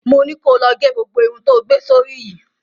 Mo ni ko lọ ge gbogbo irun tó gbé sórí yìí!